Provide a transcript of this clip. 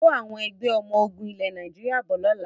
Kó Àwọn Ẹgbẹ́ ọmọ ogún ilẹ̀ Nàìjíríà bọ̀ lọ́la!